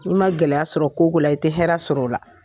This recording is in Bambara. I ma gɛlɛya sɔrɔ ko ko la i tɛ hɛrɛ sɔrɔ o la.